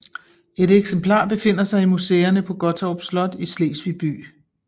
Et eksemplar befinder sig i museerne på Gottorp Slot i Slesvig by